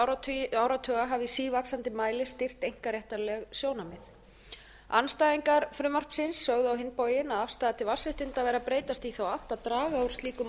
hafi í sívaxandi mæli stýrt einkaréttarleg sjónarmið andstæðingar frumvarpsins sögðu á hinn bóginn að afstaða til vatnsréttinda væru að breytast í þá átt að draga úr slíkum